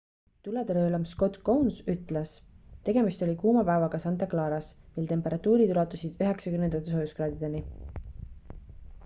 "tuletõrjeülem scott kouns ütles: "tegemist oli kuuma päevaga santa claras mil temperatuurid ulatusid 90-ndate soojuskraadideni.